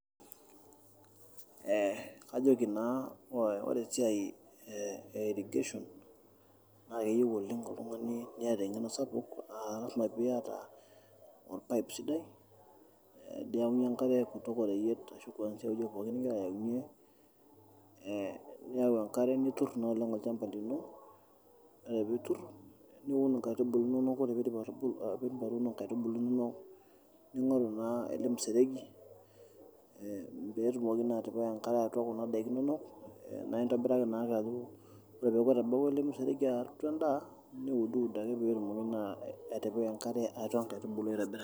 Kajoki naa ore esiai e irrigation keyieu oltung'ani niata eng'eno sapuk naa lasima pee iata orpaipe sidai ninyaunyie enkare kwanzia oreyiet ashu ewueji pookin nigira ayaunyie niyau enkare niturr naa olchamba lino ore piiturr niun nkaitubulu inonok ore piidip atuuno nkaitubulu inonok ning'oru naa ele museregi pee etumoki naa atipika enkare kuna daiki inonok naa intobiraki naa aitobiraki.